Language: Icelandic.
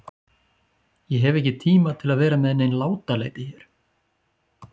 Ég hef ekki tíma til að vera með nein látalæti hér.